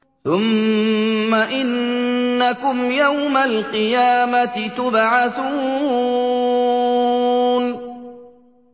ثُمَّ إِنَّكُمْ يَوْمَ الْقِيَامَةِ تُبْعَثُونَ